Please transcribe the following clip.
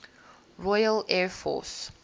royal air force